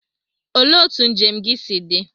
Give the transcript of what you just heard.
Olee otú njem gị si dị?